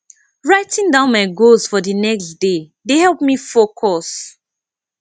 writing down my goals for the next day dey help me focus